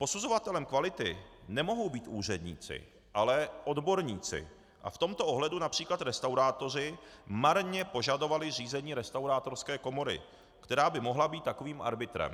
Posuzovatelem kvality nemohou být úředníci, ale odborníci a v tomto ohledu například restaurátoři marně požadovali zřízení restaurátorské komory, která by mohla být takovým arbitrem.